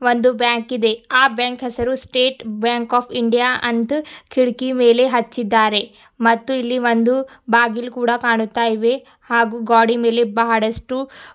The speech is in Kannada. ಒಂದು ಬ್ಯಾಂಕ್ ಇದೆ ಆ ಬ್ಯಾಂಕ್ ಹೆಸರು ಸ್ಟೇಟ್ ಬ್ಯಾಂಕ್ ಆಪ್ ಇಂಡಿಯಾ ಅಂತ ಕಿಡಕಿ ಮೇಲೆ ಹಚ್ಚಿದ್ದಾರೆ ಮತ್ತು ಇಲ್ಲಿ ಒಂದು ಬಾಗಿಲ ಕೂಡ ಕಾಣುತಾಇವೆ ಹಾಗು ಗೋಡಿ ಮೇಲೆ ಬಹಳಷ್ಟು--